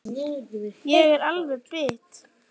Ég er alveg bit!